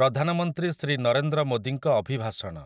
ପ୍ରଧାନମନ୍ତ୍ରୀ ଶ୍ରୀ ନରେନ୍ଦ୍ର ମୋଦୀଙ୍କ ଅଭିଭାଷଣ ।